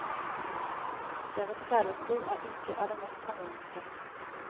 Deres kjærlighetsliv er ikke av det mest harmoniske.